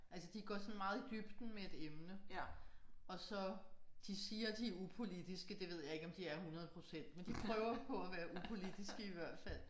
Altså de går sådan meget i dybden med et emne og så de siger de er upolitiske det ved jeg ikke om de er 100 procent men de prøver på at være upolitiske i hvert fald